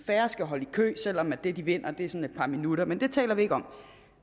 færre skal holde i kø selv om det de vinder er sådan et par minutter men det taler vi ikke om